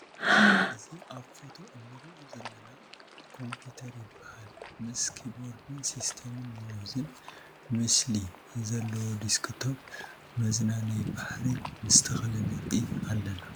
ኣዚ ኣብ ፎቶ እንሪኦ ዘለና ኮምፒትር ይብሃል ምስ ኪፖርዳን ሲስይማን ማውዛን ምስሊ ዝልዋ ዲስክቶፕ መዝናነይ ባሕሪ ምስ ተክሊ ንርኢ ኣለና ።